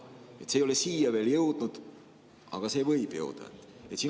See ei ole siia veel jõudnud, aga võib jõuda.